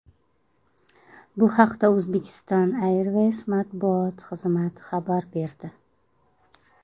Bu haqda Uzbekistan Airways matbuot xizmati xabar berdi.